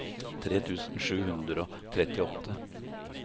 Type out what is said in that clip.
tre tusen sju hundre og trettiåtte